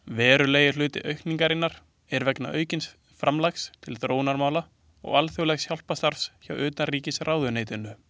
Verulegur hluti aukningarinnar er vegna aukins framlags til þróunarmála og alþjóðlegs hjálparstarfs hjá utanríkisráðuneytinu.